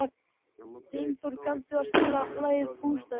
Dynþór, kanntu að spila lagið „Bústaðir“?